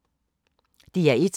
DR1